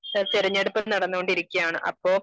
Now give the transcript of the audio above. തിരഞ്ഞെടുപ്പ് നടന്നു കൊണ്ടിരിക്കയാണ് അപ്പോ